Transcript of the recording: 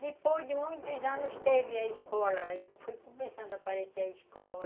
Depois de muitos anos teve a escola, aí foi começando a aparecer a escola.